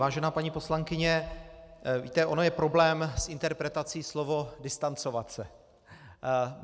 Vážená paní poslankyně, víte, on je problém s interpretací slova distancovat se.